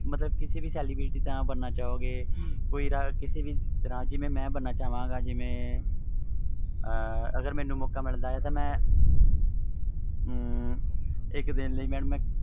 ਮਤਬਲ ਕਿਸੇ ਵੀ celebrity ਦਾ ਬਣਨਾ ਚਾਹੁੰਗੇ ਕਿਸੇ ਵੀ ਤਰਾਂ ਜਿਵੇ ਮੈਂ ਬਣਨਾ ਚਾਹਵਾਂਗਾ ਅਗਰ ਮੈਨੂੰ ਮੌਕਾ ਮਿਲਦਾ ਵ ਇਕ ਦੀ ਲਈ